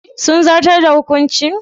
Sun zartar da hukuncin?